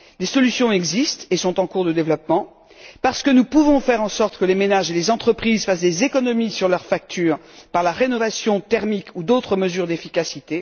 Les solutions existent et sont en cours de développement. Parce que nous pouvons faire en sorte que les ménages et les entreprises fassent des économies sur leurs factures par la rénovation thermique ou d'autres mesures d'efficacité.